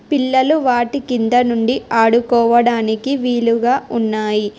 పిల్లలు వాటి కింద నుండి ఆడుకోవడానికి వీలుగా ఉన్నాయి.